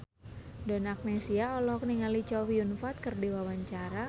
Donna Agnesia olohok ningali Chow Yun Fat keur diwawancara